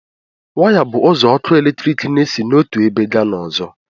Waya bụ ụzọ ọkụ eletrik n'esi n'otu ebe gaa n'ọzọ